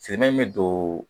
Sɛnɛ in bɛ don